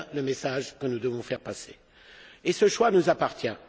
Voici le message que nous devons faire passer. Ce choix nous appartient.